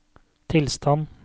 tilstand